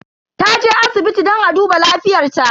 Taje asibiti don a duba lafiyar ta.